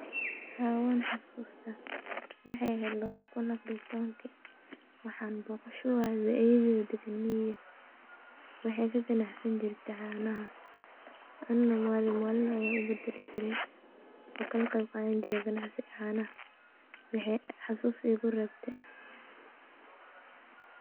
Haa wanxasusta wexey eheed lawada kuun iyo afar iyo tobanki waxan boqasho uade ayeydeyda dagan miiga wexey kagacansani jirte canaha ana malin malin an kaqeyb qadani jire gancasiga canaha oo xasus ayey igurebte.